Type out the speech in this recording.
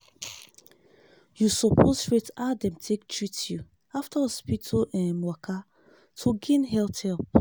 you suppose rate how dem take treat you after hospital um waka to gain health help.